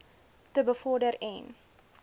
te bevorder en